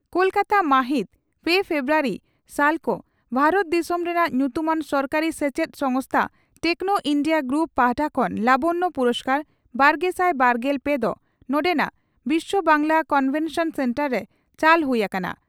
ᱠᱚᱞᱠᱟᱛᱟ ᱢᱟᱦᱤᱛ ᱯᱮ ᱯᱷᱮᱵᱨᱩᱣᱟᱨᱤ (ᱥᱟᱞᱠᱷᱚ) ᱺ ᱵᱷᱟᱨᱚᱛ ᱫᱤᱥᱚᱢ ᱨᱮᱱᱟᱜ ᱧᱩᱛᱩᱢᱟᱱ ᱥᱚᱨᱠᱟᱨᱤ ᱥᱮᱪᱮᱫ ᱥᱚᱝᱥᱛᱷᱟ ᱴᱮᱠᱱᱚ ᱤᱱᱰᱤᱭᱟ ᱜᱨᱩᱯ ᱯᱟᱦᱴᱟ ᱠᱷᱚᱱ ᱞᱟᱵᱚᱱᱭᱚ ᱯᱩᱨᱚᱥᱠᱟᱨᱼᱵᱟᱨᱜᱮᱥᱟᱭ ᱵᱟᱨᱜᱮᱞ ᱯᱮ ᱫᱚ ᱱᱚᱰᱮᱱᱟᱜ ᱵᱤᱥᱭᱚ ᱵᱟᱝᱜᱪᱞᱟ ᱠᱚᱱᱵᱷᱮᱱᱥᱚᱱ ᱥᱮᱱᱴᱟᱨ ᱨᱮ ᱪᱟᱞ ᱦᱩᱭ ᱟᱠᱟᱱᱟ ᱾